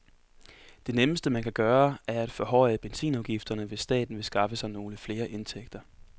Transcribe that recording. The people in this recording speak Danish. Det nemmeste, man kan gøre, er at forhøje benzinafgifterne, hvis staten vil skaffe sig nogle flere indtægter.